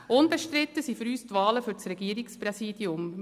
Unbestritten sind für uns die Wahlen für das Regierungspräsidium.